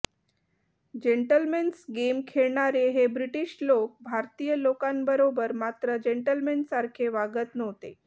gentlemen's game खेळणारे हे British लोक भारतीय लोकांबरोबर मात्र जेंटलमेन सारखे वागत नव्हते